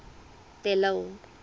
de lille